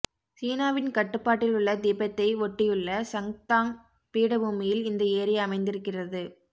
சீனாவின் கட்டுப்பாட்டிலுள்ள திபெத்தை ஒட்டியுள்ள சங்தாங் பீடபூமியில் இந்த ஏரி அமைந்திருக்கிறது